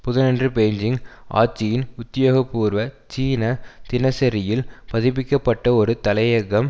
புதனன்று பெய்ஜீங் ஆட்சியின் உத்தியோக பூர்வ சீன தினசரியில் பதிப்பிக்கப்பட்ட ஒரு தலையங்கம்